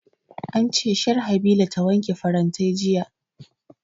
An ce Sharhabila ta wanke farantai jiya